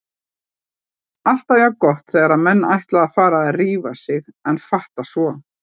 Alltaf jafn gott þegar menn ætla að fara að rífa sig en fatta svo